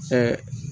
Ɛɛ